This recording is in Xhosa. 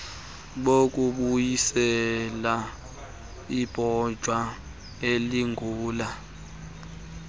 bokubuyisela ibanjwa eligula